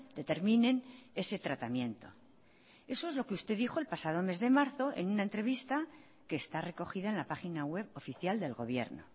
determinen ese tratamiento eso es lo que usted dijo el pasado mes de marzo en una entrevista que está recogida en la página web oficial del gobierno